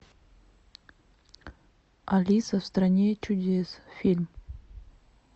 алиса в стране чудес фильм